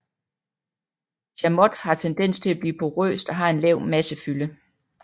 Chamotte har tendens til at blive porøst og har en lav massefylde